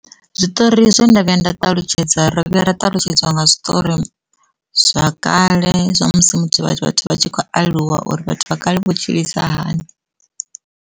Zwiṱori zwo ndo vhuya nda ṱalutshedza ro vhuya ra ṱalutshedzwa nga zwiṱori zwa kale zwa musi muthu, vhathu vha tshi khou aluwa uri vhathu vha kale vho tshilisa hani.